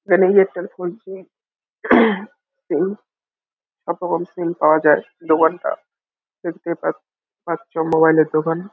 এখানে Airtel four G SIM কত কম সিম পাওয়া যায় দোকানটা দেখতেই পাঁচ পাচ্ছ মোবাইল -এর দোকান।